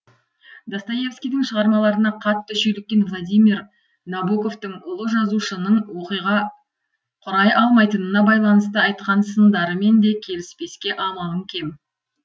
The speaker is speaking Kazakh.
достоевскийдің шығармаларына қатты шүйліккен владимир набоковтың ұлы жазушының оқиға құрай алмайтынына байланысты айтқан сындарымен де келіспеске амалың кем